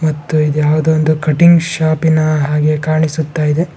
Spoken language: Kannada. ಮತ್ತು ಇದು ಯಾವದೋ ಒಂದು ಕಟಿಂಗ್ ಶಾಪಿನ ಹಾಗೆ ಕಾಣಿಸುತ್ತಾ ಇದೆ. --